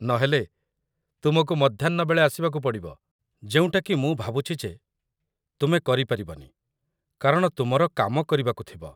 ନହେଲେ, ତୁମକୁ ମଧ୍ୟାହ୍ନ ବେଳେ ଆସିବାକୁ ପଡ଼ିବ, ଯେଉଁଟାକି ମୁଁ ଭାବୁଛି ଯେ ତୁମେ କରିପାରିବନି କାରଣ ତୁମର କାମ କରିବାକୁ ଥିବ ।